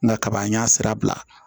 Na kaba an y'a sira bila